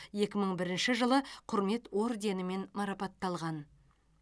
екі мың бірінші жылы құрмет орденімен марапатталған